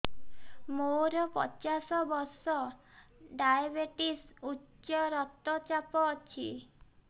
ମୋର ପଚାଶ ବର୍ଷ ଡାଏବେଟିସ ଉଚ୍ଚ ରକ୍ତ ଚାପ ଅଛି